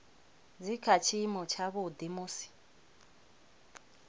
dzi kha tshiimo tshavhuḓi musi